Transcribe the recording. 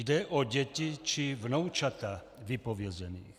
Jde o děti či vnoučata vypovězených.